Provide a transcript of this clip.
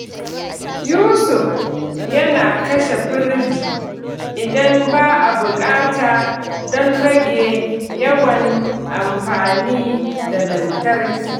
Yusuf yana kashe firiji idan ba a buƙata don rage yawan amfani da lantarki.